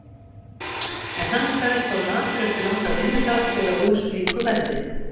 En hann kveðst of latur eftir langan vinnudag til að úr slíku verði.